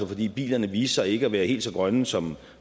fordi bilerne viste sig ikke at være helt så grønne som